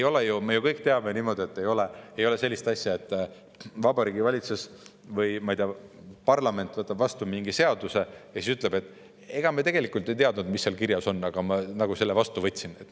Me ju kõik teame, et ei ole sellist asja, et Vabariigi Valitsus, või ma ei tea, parlament võtab vastu mingi seaduse ja siis ütleb, et ega me tegelikult ei teadnud, mis seal kirjas on, aga selle me vastu võtsime.